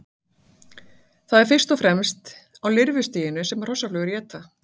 Það er fyrst og fremst á lirfustiginu sem hrossaflugur éta.